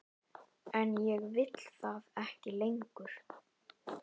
En ég vil það ekki lengur.